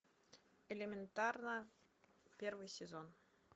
элементарно первый сезон